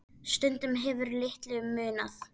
Stundum hefur litlu munað.